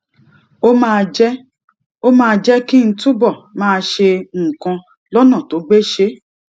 ó máa jé ó máa jé kí n túbò máa ṣe nǹkan lónà tó gbéṣé